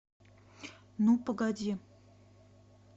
ну погоди